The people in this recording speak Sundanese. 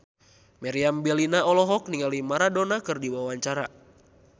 Meriam Bellina olohok ningali Maradona keur diwawancara